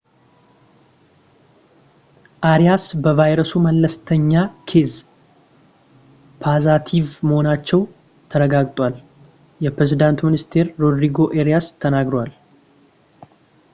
አሪያስ በቫይረሱ መለስተኛ ኬዝ ፖዘቲቭ መሆናቸው ተረጋግጧል የፕሬዝዳንቱ ሚኒስትር ሮድሪጎ አሪያስ ተናግረዋል